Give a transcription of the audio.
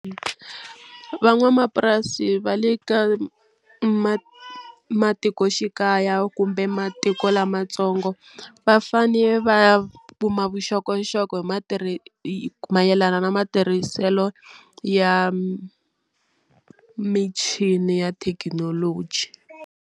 Van'wamapurasi va le ka ma matikoxikaya kumbe matiko lamatsongo va fane vaya kuma vuxokoxoko hi matiri mayelana na matirhiselo ya michini ya thekinoloji.